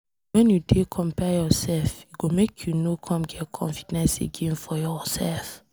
wen you dey compare yourself, e go make you no come get confidence again for yourself.